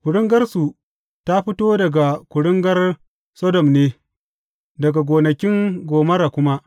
Kuringarsu ta fito daga kuringar Sodom ne, daga gonakin Gomorra kuma.